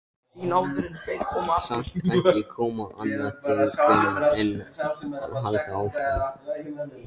Samt kom ekki annað til greina en að halda áfram.